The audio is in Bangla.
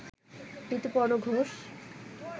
ঋতুপর্ণ ঘোষ